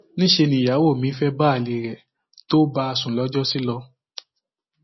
níṣẹ nìyàwó mi fẹẹ bá alẹ rẹ tó bá a sùn lọjọsí lọ